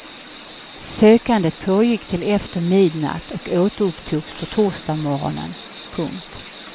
Sökandet pågick till efter midnatt och återupptogs på torsdagsmorgonen. punkt